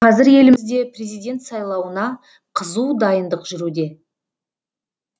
қазір елімізде президент сайлауына қызу дайындық жүруде